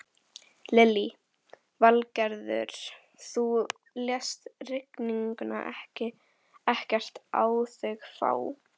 Lillý Valgerður: Þú lést rigninguna ekkert á þig fá?